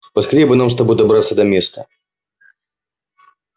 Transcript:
поскорее бы нам с тобой добраться до места